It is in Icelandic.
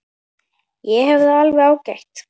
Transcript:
Ég hef það alveg ágætt.